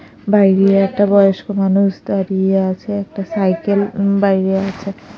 বাইরে একটা বয়স্ক মানুষ দাঁড়িয়ে আছে একটা সাইকেল উম বাইরে আছে।